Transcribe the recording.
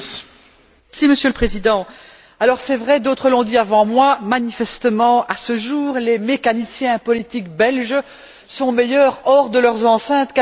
Monsieur le Président, c'est vrai d'autres l'ont dit avant moi manifestement, à ce jour, les mécaniciens politiques belges sont meilleurs hors de leurs enceintes qu'à domicile.